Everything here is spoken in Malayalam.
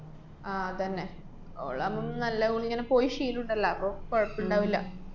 ആഹ് തന്നെ. ഓളാവുമ്പം നല്ലപോലിങ്ങനെ പോയി ശീലോണ്ടല്ലാ. അപ്പ കൊഴപ്പോണ്ടാവില്ല.